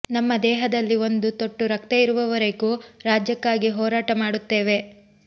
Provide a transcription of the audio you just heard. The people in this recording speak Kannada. ನಮ್ಮ ದೇಹದಲ್ಲಿ ಒಂದು ತೊಟ್ಟು ರಕ್ತ ಇರುವರೆಗೂ ರಾಜ್ಯಕ್ಕಾಗಿ ಹೋರಾಟ ಮಾಡುತ್ತೇವೆ